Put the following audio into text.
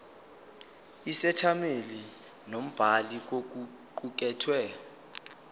isethameli nombhali kokuqukethwe